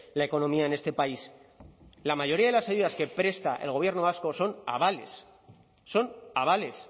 la economía en este país la mayoría de las ayudas que presta el gobierno vasco son avales son avales